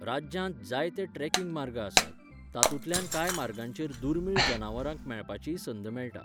राज्यांत जायते ट्रेकिंग मार्ग आसात, तातूंतल्या कांय मार्गांचेर दुर्मिळ जनावरांक मेळपाचीय संद मेळटा.